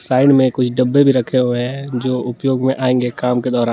Side में कुछ डब्बे भी रखे हुए हैं जो उपयोग में आएंगे काम के दौरान।